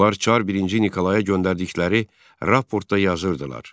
Onlar çar I Nikolaya göndərdikləri raportda yazırdılar: